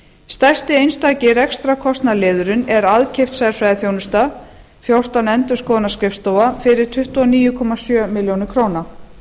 stærsti einstaki rekstrarkostnaðarliðurinn er aðkeypt sérfræðiþjónusta fjórtán endurskoðunarskrifstofa fyrir tuttugu og níu komma sjö milljónir króna